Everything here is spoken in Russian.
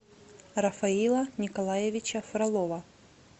рафаила николаевича фролова